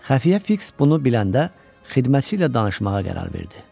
Xəfiyə Fiks bunu biləndə xidmətçi ilə danışmağa qərar verdi.